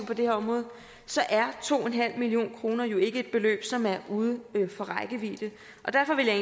på det her område så er to en halv million kroner jo ikke et beløb som er uden for rækkevidde derfor vil jeg